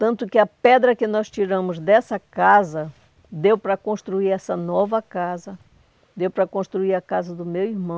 Tanto que a pedra que nós tiramos dessa casa, deu para construir essa nova casa, deu para construir a casa do meu irmão,